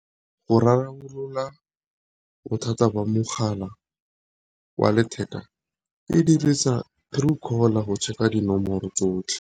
Go rarabolola bothata ba mogala wa letheka e dirisa Truecaller go check-a dinomoro tsotlhe.